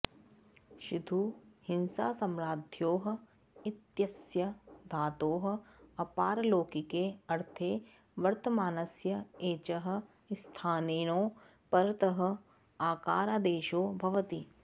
षिधु हिंसासम्राध्योः इत्यस्य धातोः अपारलौकिके ऽर्थे वर्तमानस्य एचः स्थाने णौ परतः आकारादेशो भवति